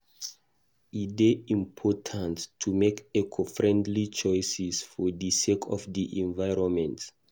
E dey important to make eco-friendly choices for di sake of di environment.